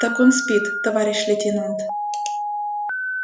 так спит он товарищ лейтенант